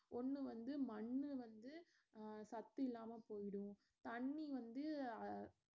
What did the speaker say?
ஒன்னு வந்து மண்ணு வந்து அஹ் சத்து இல்லாம போயிடும் தண்ணி வந்து அஹ்